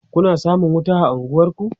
Kuna samun wuta a unguwanku?